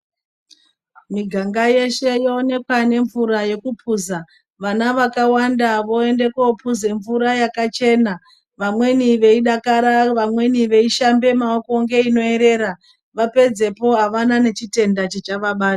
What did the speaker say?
Miganga yeshe yoonekwa nemvura yekupuza. Vana vakawanda voende kopuze mvura yakachena vamweni veidakara vamweni veishambe maoko ngeinoerera vapedzepo avana nechitenda chichavabata.